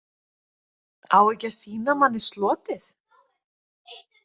Á ekki að sýna manni slotið?